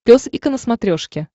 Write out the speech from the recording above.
пес и ко на смотрешке